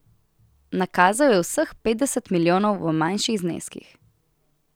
Nakazal je vseh petdeset milijonov v manjših zneskih.